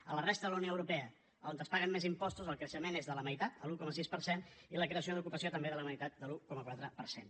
a la resta de la unió europea on es paguen més impostos el creixement és de la meitat l’un coma sis per cent i la creació d’ocupació també de la meitat de l’un coma quatre per cent